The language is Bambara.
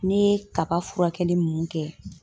Ne ye kaba furakɛli minnu kɛ